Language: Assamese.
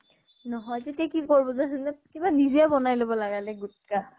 নহয় যদি কি কৰিব যে যোনে কিবা নিজে বনাই লব লাগিলে গুটখা